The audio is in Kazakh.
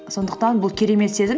сондықтан бұл керемет сезім